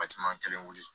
kelen wuli